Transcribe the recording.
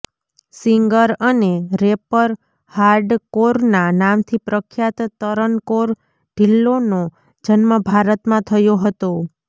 singer અને rapper hard કૌરના નામથી પ્રખ્યાત તરન કૌર ઢિલ્લોંનો જન્મ ભારતમાં થયો હતો